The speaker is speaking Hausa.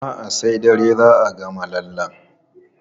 A'a, sai dare za a gama lallen.